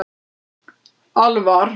Alvar